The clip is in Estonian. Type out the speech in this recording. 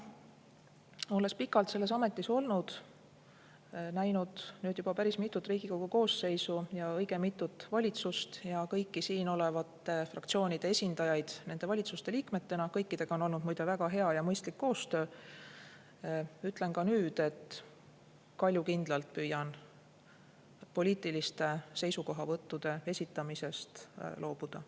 Olles pikalt selles ametis olnud ja näinud nüüd juba päris mitut Riigikogu koosseisu ja õige mitut valitsust ja kõiki siin olevate fraktsioonide esindajaid nende valitsuste liikmetena – kõikidega on olnud muide väga hea ja mõistlik koostöö –, ütlen ka nüüd, et ma kaljukindlalt püüan poliitiliste seisukohavõttude esitamisest loobuda.